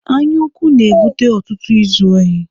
Anyaukwu na-ebute ọtụtụ izu ohi.